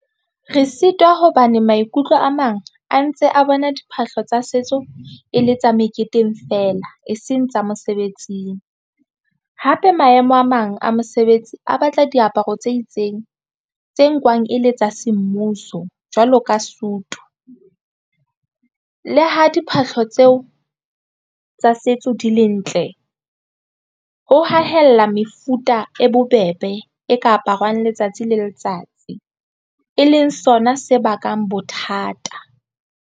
Re sitwa hobane maikutlo a mang a ntse a bona diphahlo tsa setso e le tsa meketeng feela e seng tsa mosebetsing. Hape maemo a mang a mosebetsi a batla diaparo tse itseng tse nkwang e le tsa semmuso jwalo ka sutu le ha diphahlo tseo tsa setso di le ntle ho hahella mefuta e bobebe e ka aparwang letsatsi le letsatsi e leng sona se bakang bothata.